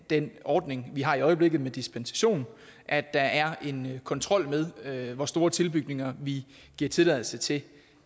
den ordning vi har i øjeblikket med dispensation at der er en kontrol med med hvor store tilbygninger vi giver tilladelse til